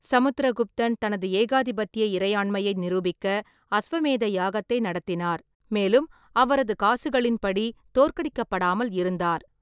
சமுத்திரகுப்தன் தனது ஏகாதிபத்திய இறையாண்மையை நிரூபிக்க அஸ்வமேத யாகத்தை நடத்தினார், மேலும் அவரது காசுகளின்படி, தோற்கடிக்கப்படாமல் இருந்தார்.